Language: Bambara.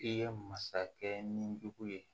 I ye masakɛ ni jugu ye